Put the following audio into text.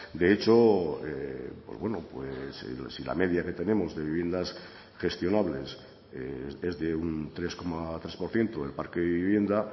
de hecho si la media que tenemos de viviendas gestionables es de un tres coma tres por ciento del parque de vivienda